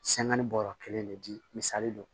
bɔɔrɔ kelen de di misali don